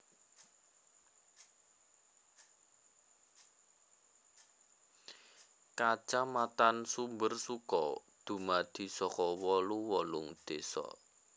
Kacamatan Sumbersuko dumadi saka wolu wolung désa